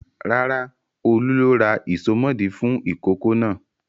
Rárá, Olú ló ra ìsomọ́ọ̀dí fún ìkókó náà.